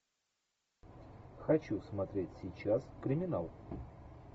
хочу смотреть сейчас криминал